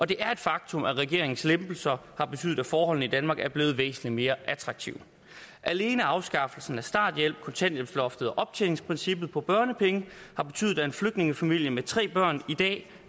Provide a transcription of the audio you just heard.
det er et faktum at regeringens lempelser har betydet at forholdene i danmark er blevet væsentlig mere attraktive alene afskaffelsen af starthjælpen kontanthjælpsloftet og optjeningsprincippet for børnepengene har betydet at en flygtningefamilie med tre børn i dag